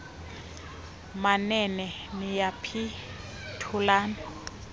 manene niyaphi thulani